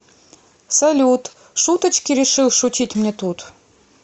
салют шуточки решил шутить мне тут